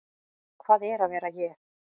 Hvað er að vera ég?